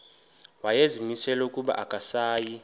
wayezimisele ukuba akasayi